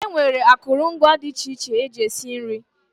E nwere akụrụngwa dị iche iche eji esi nri.